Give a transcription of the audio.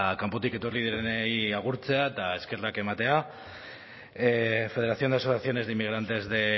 kanpotik etorri direnei agurtzea eta eskerrak ematea federación de asociaciones de inmigrantes de